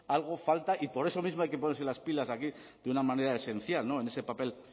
algo falta y por eso mismo hay que ponerse las pilas aquí de una manera esencial en ese papel